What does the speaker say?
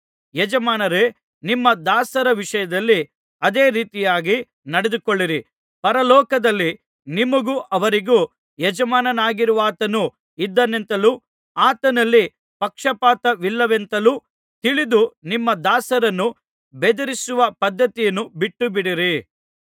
ಯಜಮಾನರೇ ನಿಮ್ಮ ದಾಸರ ವಿಷಯದಲ್ಲಿ ಅದೇ ರೀತಿಯಾಗಿ ನಡೆದುಕೊಳ್ಳಿರಿ ಪರಲೋಕದಲ್ಲಿ ನಿಮಗೂ ಅವರಿಗೂ ಯಜಮಾನನಾಗಿರುವಾತನು ಇದ್ದಾನೆಂತಲೂ ಆತನಲ್ಲಿ ಪಕ್ಷಪಾತವಿಲ್ಲವೆಂತಲೂ ತಿಳಿದು ನಿಮ್ಮ ದಾಸರನ್ನು ಬೆದರಿಸುವ ಪದ್ಧತಿಯನ್ನು ಬಿಟ್ಟುಬಿಡಿರಿ